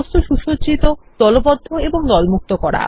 বস্তু সুসজ্জিত দলবদ্ধ এবং দলমুক্ত করা